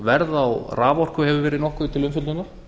verð á raforku hefur verið nokkuð til umfjöllunar